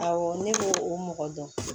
Awɔ ne b'o o mɔgɔ dɔn